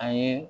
A ye